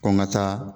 Ko n ka taa